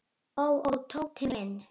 Ó, ó, Tóti minn.